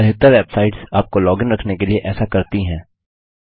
अधिकतर बेवसाइट्स आपको log in रखने के लिए ऐसा करती हैं